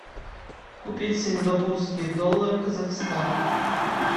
купить сингапурские доллары казахстан